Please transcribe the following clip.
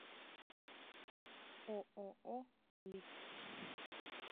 ооо лик